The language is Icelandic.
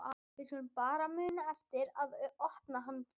Við skulum bara muna eftir að opna hann fyrst!